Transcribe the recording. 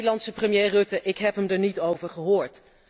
De Nederlandse premier Rutten ik heb hem er niet over gehoord.